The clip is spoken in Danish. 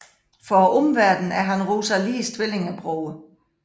For omverdenen er han Rosalies tvillingebror